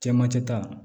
Cɛmancɛ ta